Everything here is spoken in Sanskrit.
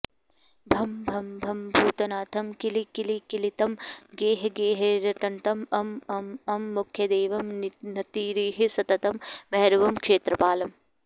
भं भं भं भूतनाथं किलिकिलिकिलितं गेहगेहेरटन्तं अं अं अं मुख्यदेवं नतिरिह सततं भैरवं क्षेत्रपालम्